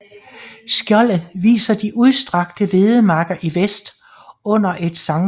Skjoldet viser de udstrakte hvedemarker i vest under et Skt